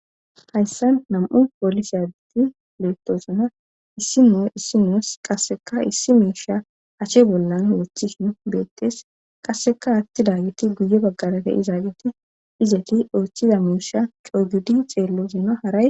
Hayssan nam7u poolisi adeti leettosuna issi mu issi muus qasseka issi miisha ache bollan wothi n beettees qasseka atti daageti guye baggalate izaageti izeti oochchiza miisha coygudi xeellozina haray